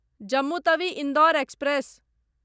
Jammu Tawi Indore express